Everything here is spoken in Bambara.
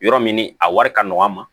Yɔrɔ min ni a wari ka nɔgɔn an ma